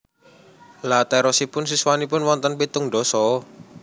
Lha terosipun siswanipun wonten pitung ndasa?